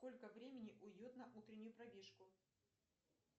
сколько времени уйдет на утреннюю пробежку